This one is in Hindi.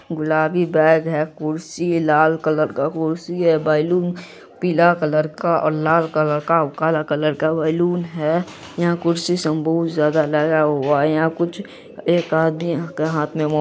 गुलाबी बैग है कुर्सी लाल कलर का कुर्सी है बैलून पीला कलर का और लाल कलर का काला कलर का बैलून है| यहाँ कुर्सी सब बहुत ज्यादा लगा हुआ है| यहाँ कुछ एक आदमी के हाथ में मो--